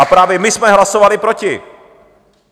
A právě my jsme hlasovali proti!